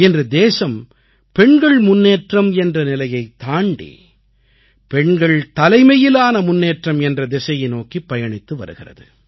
இன்று தேசம் பெண்கள் முன்னேற்றம் என்ற நிலையைத் தாண்டி பெண்கள் தலைமையிலான முன்னேற்றம் என்ற திசையை நோக்கிப் பயணித்து வருகிறது